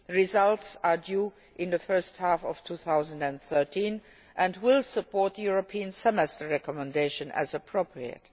results are due in the first half of 2013 and will support the European Semester recommendation as appropriate.